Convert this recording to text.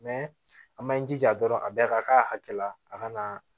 an m'an jija dɔrɔn a bɛɛ ka k'a hakɛ la a kana